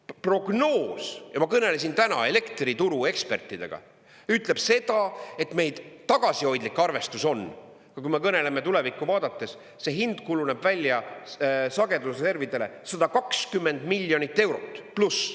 Prognoos, ja ma kõnelesin täna elektrituru ekspertidega, ütleb seda, et meie tagasihoidlik arvestus on, kui me kõneleme tulevikku vaadates, see hind kujuneb välja sagedusreservidele 120 miljonit eurot pluss.